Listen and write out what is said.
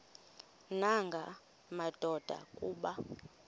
nanga madoda kuba